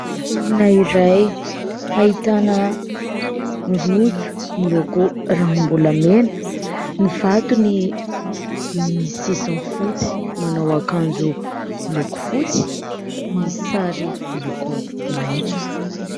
Olona iray ahitana rojo miloko ranombolamena, ny vatony misy sisiny fotsy ; manao akanjo moloko fotsy, misy sary miloko maitso.